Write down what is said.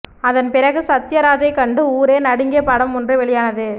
அதன்பிறகு சத்தியராஜைக் கண்டு ஊரே நடுங்கிய படம் ஒன்று வெளியானது